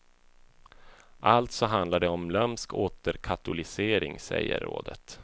Alltså handlar det om lömsk återkatolicering, säger rådet.